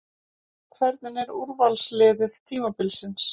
Hvernig er úrvalsliðið tímabilsins?